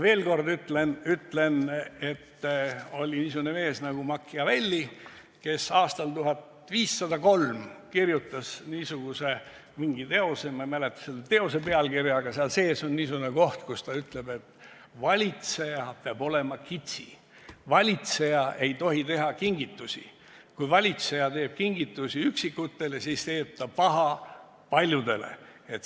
Veel kord ütlen, et oli niisugune mees nagu Machiavelli, kes aastal 1503 kirjutas teose – ma ei mäleta küll selle pealkirja –, kus sees on niisugune koht, et valitseja peab olema kitsi, valitseja ei tohi teha kingitusi, et kui valitseja teeb kingitusi üksikutele, siis teeb ta paha paljudele.